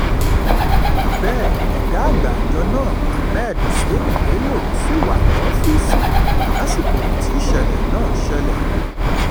bẹ́ẹ̀ ọ̀gá àgbà àjọ náà ahmed húṣáínì bẹ́lọ́ ṣì wà lọ́fíìsì lásìkò tísẹ̀lẹ̀ náà ṣẹlẹ̀